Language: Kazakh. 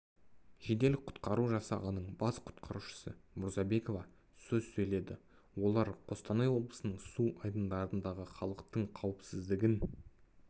жедел құтқару жасағының бас құтқарушысы мұрзабекова сөз сөйледі олар қостанай облысының су айдындарындағы халықтың қауіпсіздігін